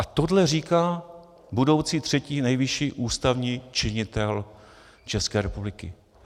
A tohle říká budoucí třetí nejvyšší ústavní činitel České republiky.